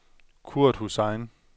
Kurt Hussain